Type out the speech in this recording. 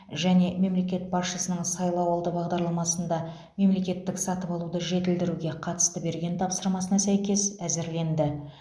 және мемлекет басшысының сайлауалды бағдарламасында мемлекеттік сатып алуды жетілдіруге қатысты берген тапсырмасына сәйкес әзірленді